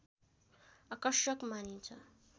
आकर्षक मानिन्छ